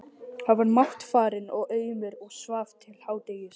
Hann var máttfarinn og aumur og svaf til hádegis.